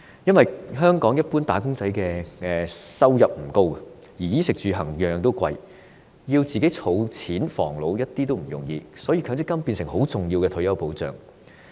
因為，香港一般"打工仔"的收入不高，但衣食住行昂貴，想儲錢防老絕不容易，所以強積金便變成重要的退休保障。